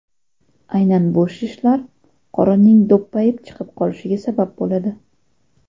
Aynan bu shishlar qorinning do‘ppayib chiqib qolishiga sabab bo‘ladi.